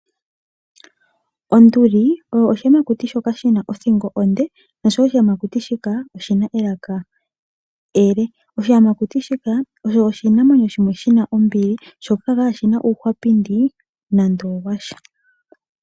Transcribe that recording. Onduli osho oshiyamakuti shoka shina othingo onde, noshowo oshiyamakuti shika oshina elaka ele. Oshiyamakuti shika oshinamwenyo shimwe shina ombili sho kashina uuhwapindi nande owasha.